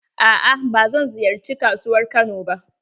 Aa ba zan ziyarci kasuwar Kano ba.